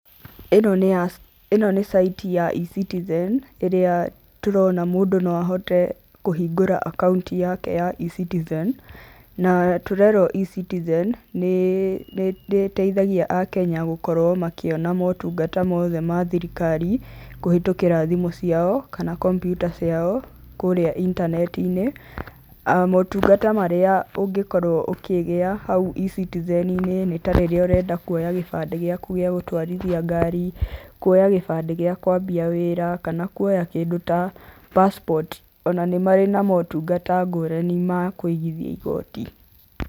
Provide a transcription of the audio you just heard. Ĩno nĩ site ya eCitizen irĩa tũrona mũndũ no ahote kũhingũra akaũnti yake ya eCitizen. Na tũrerwo eCitizen nĩ ĩteithagia Akenya gũkorwo makĩona motungata mothe ma thirikari, kũhĩtũkĩra thimũ ciao kana kompiuta ciao kũrĩa intaneti-inĩ. Motungata marĩa ũngĩkorwo ũkĩgĩa hau eCitizen-inĩ nĩ ta rĩrĩa ũrenda kuoya gĩbandĩ gĩaku gĩagutwarithia ngari, kuoya gĩbandĩ gĩa kwambia wĩra, kana kuoya kĩndũ ta pacipoti, ona nĩ marĩ na motungata ngũrani ma kũigithia igoti.